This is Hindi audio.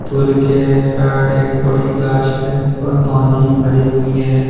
पुल के साइड एक बड़ी गाछ है और पानी भरी हुई है।